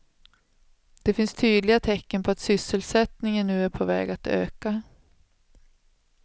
Det finns tydliga tecken på att sysselsättningen nu är på väg att öka.